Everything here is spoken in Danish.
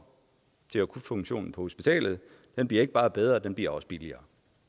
til akutfunktionen på hospitalet den bliver ikke bare bedre den bliver også billigere